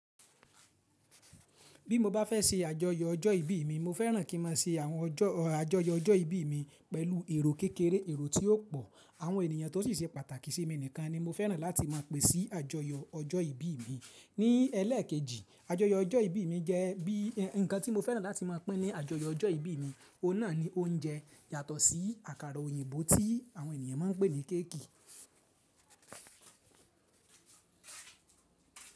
Bí mo bá fẹ́ ṣe àjọyọ̀ ọjọ́ ìbí mi, mo fẹ́ràn kí ma ṣe àwọn ọjọ́, àjọyọ ọjọ́ ìbí mi pẹ̀lú èrò kékeré, èrò tí ó pọ̀. Àwọn ènìyàn tó sì se pàtàkì sí mi nìkan ni mo fẹ́ràn láti máa pè sí àjọyọ ọjọ́ ìbí mi. Ní ẹlẹ́ẹ̀kejì, àjọyọ ọjọ́ ìbí mi jẹ́ bí, nǹkan tí mo fẹ́ràn láti máa pín ní àjọyọ ọjọ́ ìbí mi, òun náà ni oúnjẹ yatọ̀ sí àkàrà òyìnbó tí àwọn ènìyàn máa ń pè ní kéèkì.